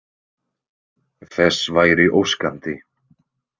Þess væri óskandi.